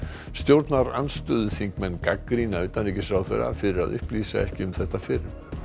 stjórnarandstöðuþingmenn gagnrýna utanríkisráðherra fyrir að upplýsa ekki um þetta fyrr